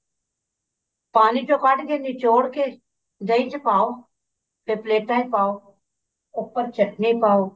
ਪਾਣੀ ਚੋਂ ਕੱਢ ਕੇ ਨਿਚੋੜ ਕੇ ਦਹੀਂ ਚ ਪਾਓ ਤੇ ਪਲੇਟਾਂ ਚ ਪਾਓ ਉੱਪਰ ਚਟਨੀ ਪਾਓ